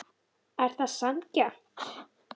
Er það sanngjarnt?